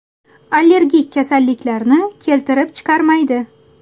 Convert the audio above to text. Allergik kasalliklarni keltirib chiqarmaydi.